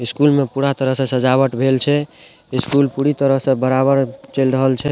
School में पूरा तरह से सजावट भेल छे स्कूल पूरी तरह से बराबर चल रहल छे।